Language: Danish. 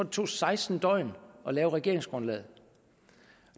tog seksten døgn at lave regeringsgrundlaget